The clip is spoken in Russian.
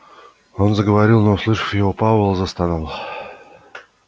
он заговорил но услышав его пауэлл застонал